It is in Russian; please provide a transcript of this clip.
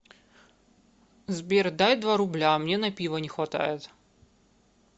сбер дай два рубля мне на пиво не хватает